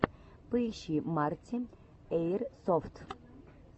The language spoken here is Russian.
поищи марти эирсофт